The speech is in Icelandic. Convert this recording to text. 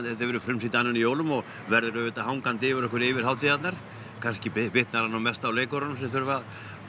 verður frumsýnt annan í jólum og verður auðvitað hangandi yfir okkur yfir hátíðarnar kannski bitnar það nú mest á leikurunum sem þurfa að